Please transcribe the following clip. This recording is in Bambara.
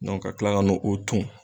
Dɔnke ka kila ka n'o ton